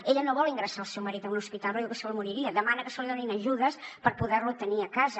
ella no vol ingressar el seu marit en un hospital perquè diu que se li moriria demana que se li donin ajudes per poder lo tenir a casa